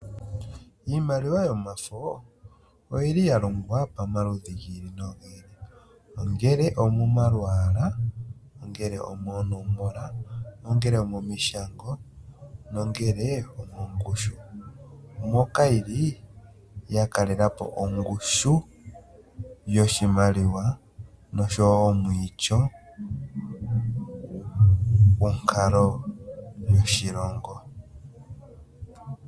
Iimaliwa yomafo oyili ya longwa pomaludhi gi ili nogi ili ongele omomalwaala, moonomola, momishango nenge mongushu moka yili ya kalela po ongushu yoshimaliwa noshowo omwiityo gonkalo yoshilongo.